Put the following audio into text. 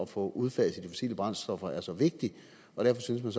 få udfaset de fossile brændstoffer er så vigtigt og derfor synes man